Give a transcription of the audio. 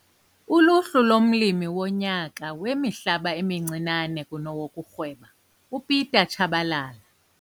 Uluhlu lomLimi woNyaka weMihlaba emiNcinane kunowokurhweba- uPieter Chabalala.